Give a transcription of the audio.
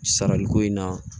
Sarali ko in na